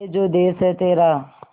ये जो देस है तेरा